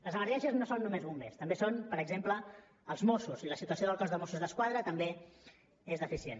les emergències no són només bombers també són per exemple els mossos i la situació del cos de mossos d’esquadra també és deficient